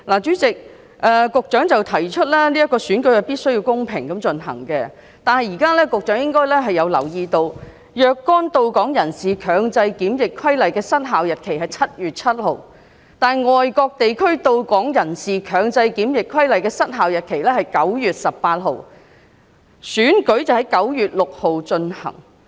主席，局長提出選舉必須公平地進行，但局長應該留意到，《若干到港人士強制檢疫規例》的失效日期為7月7日，但《外國地區到港人士強制檢疫規例》的失效日期為9月18日，立法會選舉則在9月6日進行。